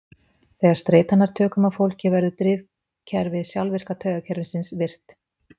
Þegar streita nær tökum á fólki verður drifkerfi sjálfvirka taugakerfisins virkt.